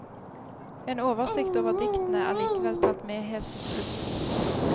En oversikt over diktene er likevel tatt med helt til slutt.